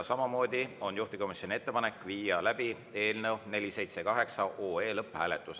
Samamoodi on juhtivkomisjoni ettepanek viia läbi eelnõu 478 lõpphääletus.